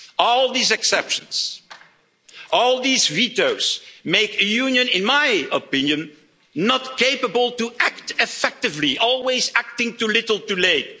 All these exceptions, all these vetoes make a union, in my opinion, not capable to act effectively always acting too little, too